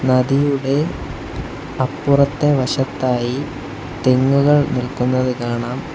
നദിയുടെ അപ്പുറത്തെ വശത്തായി തെങ്ങുകൾ നിൽക്കുന്നതു കാണാം.